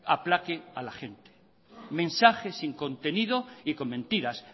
aplaque a la gente mensajes sin contenido y con mentiras